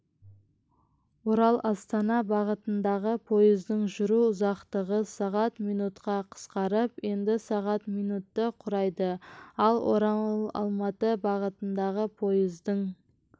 ораластана бағытындағы пойыздың жүру ұзақтығы сағат минутқа қысқарып енді сағат минутты құрайды ал оралалматы бағытындағы пойыздың